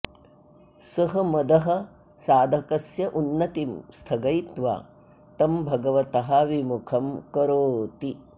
सः मदः साधकस्योन्नतिं स्थगयित्वा तं भगवतः विमुखं करोति